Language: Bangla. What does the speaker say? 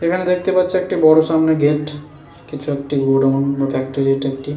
এখানে দেখতে পাচ্ছে একটি বড় সামনে গেট । কিছু একটি গোডাউন বা ফ্যাক্টরি এটা একটি।